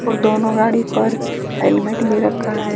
और दोनों गाड़ी पर हेलमेट भी रखा है।